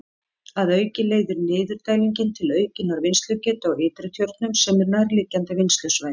Að auki leiðir niðurdælingin til aukinnar vinnslugetu á Ytri-Tjörnum sem er nærliggjandi vinnslusvæði.